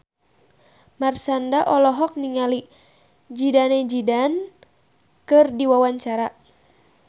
Marshanda olohok ningali Zidane Zidane keur diwawancara